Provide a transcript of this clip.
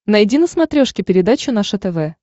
найди на смотрешке передачу наше тв